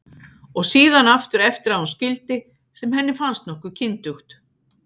Og síðan aftur eftir að hún skildi, sem henni fannst nokkuð kyndugt.